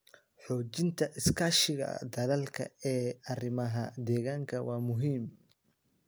Xoojinta iskaashiga dalalka ee arrimaha deegaanka waa muhiim.